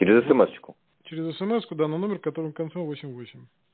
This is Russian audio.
через смс через смску да на номер который в конце восемь восемь